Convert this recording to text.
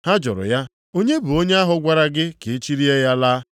Ha jụrụ ya, “Onye bụ onye ahụ gwara gị ka ị chilie ya laa?”